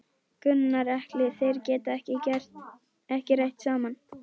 Gunnar Atli: Þeir geta ekki rætt saman?